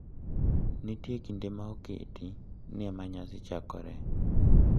Nitie kinde ma oketi ni ema nyasi chakoree.